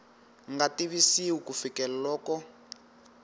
nga tivisiwi ku fikela loko